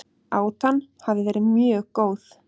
Átan hafi verið mjög góð